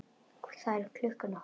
Það er klukkan okkar!